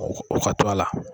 O o ka to a la.